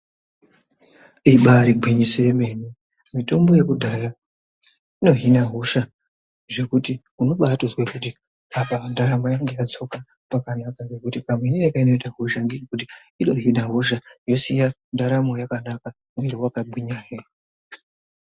Ibaari gwinyiso yemene, mitombo yekudhaya inohina hosha zvekuti unobaatozwe kuti apa ndaramo yangu yadzoka pakanaka ngekuti kamuhinire kainoita hosha ngekekuti inohina hosha yosiya ndaramo yakanaka mwiri wakagwinya hee.